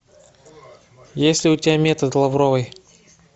есть ли у тебя метод лавровой